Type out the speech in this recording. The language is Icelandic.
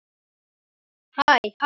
Hjartað fór að hamast.